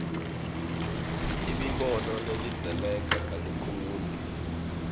imibono ilandzeleka kalukhuni